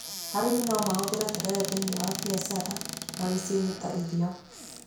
Arĩmi no mahũthĩre terere thĩiniĩ wa biacara na mĩciĩ-inĩ ta irio.